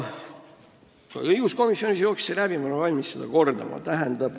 Ka õiguskomisjonis jooksis see teema läbi, ma olen valmis seda kordama.